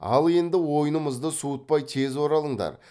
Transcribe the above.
ал енді ойнымызды суытпай тез оралыңдар